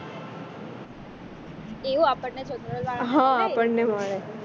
એવું આપણને general વાળને હ આપણને મળે